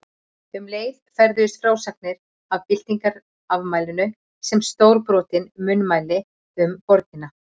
Um leið ferðuðust frásagnir af byltingarafmælinu sem stórbrotin munnmæli um borgina.